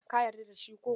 Ka yarda da shi ko?